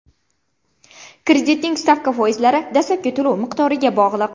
Kreditning stavka foizlari dastlabki to‘lov miqdoriga bog‘liq.